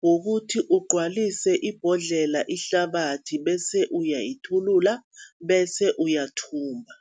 kukuthi ugcwalise ibhodlela ngehlabathi, bese uyayithulula, bese uyathumba.